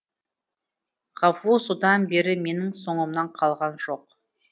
ғафу содан бері менің соңымнан қалған жоқ